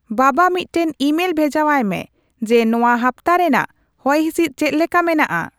ᱵᱟᱵᱟ ᱢᱤᱫᱴᱟᱝ ᱤᱢᱮᱞ ᱵᱷᱮᱡᱟᱶᱟᱭ ᱢᱮ ᱡᱮ ᱱᱚᱶᱟ ᱦᱟᱯᱛᱟ ᱨᱮᱱᱟᱜ ᱦᱚᱭᱦᱤᱥᱤᱫ ᱪᱮᱫ ᱞᱮᱠᱟ ᱢᱮᱱᱟᱜᱼᱟ ?